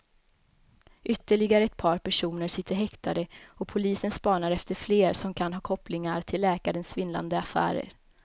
Ytterligare ett par personer sitter häktade och polisen spanar efter fler som kan ha kopplingar till läkarens svindlande affärer.